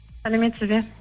сәлеметсіз бе